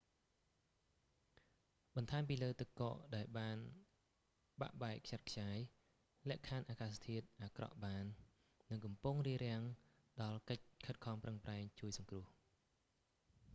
បន្ថែមពីលើទឹកកកដែលបាក់បែកខ្ចាត់ខ្ចាយលក្ខខណ្ឌអាកាសធាតុអាក្រក់បាន និងកំពុងរារាំងដល់កិច្ចខិតខំប្រឹងប្រែងជួយសង្គ្រោះ